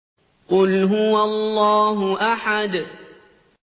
قُلْ هُوَ اللَّهُ أَحَدٌ